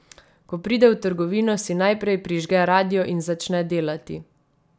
Ko pride v trgovino, si najprej prižge radio in začne delati.